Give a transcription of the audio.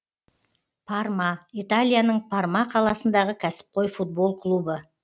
парма италияның парма қаласындағы кәсіпқой футбол клубы